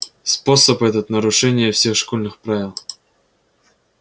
способ этот нарушение всех школьных правил